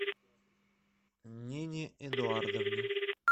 нине эдуардовне